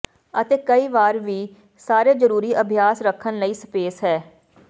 ਅਤੇ ਕਈ ਵਾਰ ਵੀ ਸਾਰੇ ਜ਼ਰੂਰੀ ਅਭਿਆਸ ਰੱਖਣ ਲਈ ਸਪੇਸ ਹੈ